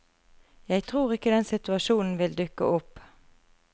Jeg tror ikke den situasjonen vil dukke opp.